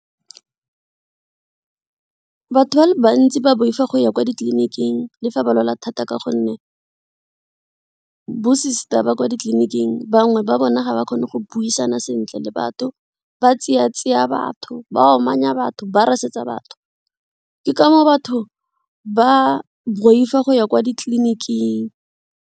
Batho ba le bantsi ba boifa go ya kwa ditleliniking le fa ba lwala thata ka gonne bo-sister ba kwa ditleliniking bangwe ba bone ga ba kgone go go buisana sentle le batho, ba tseya tseya batho, ba amanya batho, ba rasetsa batho ke ka moo batho ba boifa go ya kwa ditleliniking.